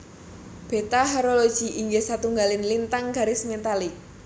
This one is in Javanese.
Beta Horologi inggih satunggaling lintang garis metalik